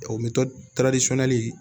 O